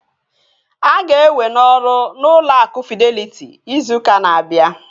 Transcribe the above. A ga-ewe n'ọrụ n'ụlọ akụ Fideliti izu ụka na-abịa